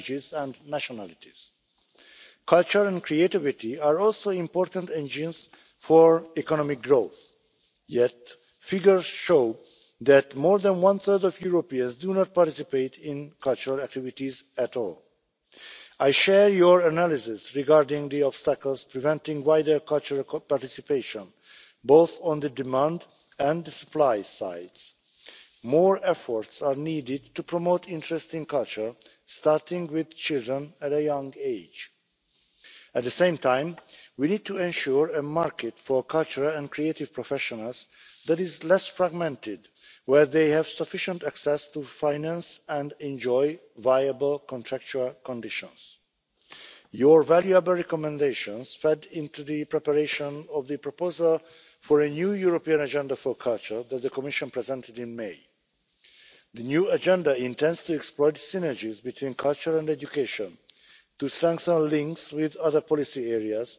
This was confirmed by the Heads of State and Government in their conclusions last December. Culture is part of our identity. It gives meaning to historical events and feelings, and it helps us to communicate across languages and nationalities. Culture and creativity are also important engines for economic growth, yet figures show that more than one third of Europeans do not participate in cultural activities at all. I share your analysis regarding the obstacles preventing wider cultural participation, both on the demand and supply sides. More efforts are needed to promote interest in culture, starting with children at a young age. At the same time, we need to ensure a market for cultural and creative professionals that is less fragmented, and where they have sufficient access to finance and enjoy viable contractual conditions. Your valuable recommendations fed into the preparation of the proposal for a new European Agenda for Culture that the Commission presented in May. The new agenda intends to exploit synergies between culture and education, to strengthen links with other policy